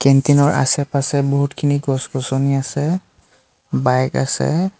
কেন্টিনৰ আছে পাছে বহুতখিনি গছ-গছনি আছে বাইক আছে।